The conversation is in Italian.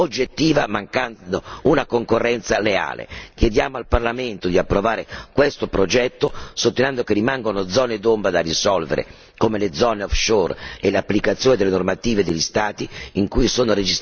Chiediamo al Parlamento di approvare questo progetto, sottolineando che rimangono zone d'ombra da risolvere come le zone off shore e l'applicazione delle normative degli Stati in cui sono registrate le compagnie, e al Consiglio di impegnarsi finalmente.